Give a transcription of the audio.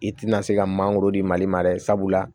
I tina se ka mangoro di mali ma dɛ sabula